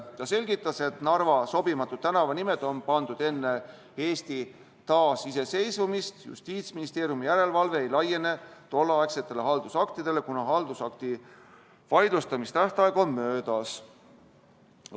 Ta selgitas, et Narva sobimatud tänavanimed on pandud enne Eesti taasiseseisvumist, Justiitsministeeriumi järelevalve ei laiene tolleaegsetele haldusaktidele, kuna haldusakti vaidlustamise tähtaeg on möödas.